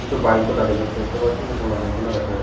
কিছু বাইক -ও দাঁড়িয়ে থাকতে দেখতে পাচ্ছি। কিছু মানুষজন ও দেখা যাচ্ছে ।